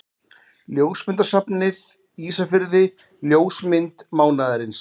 Ljósmyndasafnið Ísafirði Ljósmynd mánaðarins.